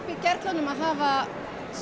hafa